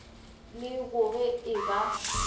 le go ge e ba